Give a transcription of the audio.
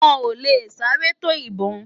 Wòn lé sárè tó ibòn